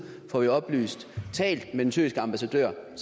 fået oplyst har talt med den tyrkiske ambassadør